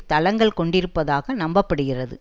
தளங்கள் கொண்டிருப்பதாக நம்ப படுகிறது